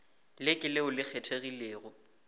le ke leo le kgethegilego